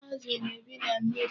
Azụ na-ebi na mmiri.